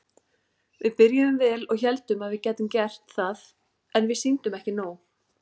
Við byrjuðum vel og héldum að við gætum gert það en við sýndum ekki nóg.